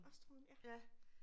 Også 2'eren ja